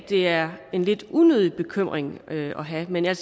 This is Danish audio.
det er en lidt unødig bekymring at have men jeg